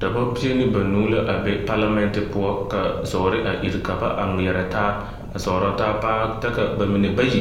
Dɔbɔ pie ne banuu la a be palamɛnte poɔ ka zɔɔre a iri ka ba a ŋmeɛrɛ taa, a zɔɔrɔ taa paa ta ka bamine bayi